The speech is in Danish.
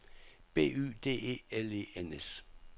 B Y D E L E N S